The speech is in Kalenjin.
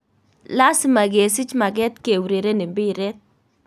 Lasima kesiich mageet keureren mbireet